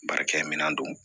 Baarakɛminɛn don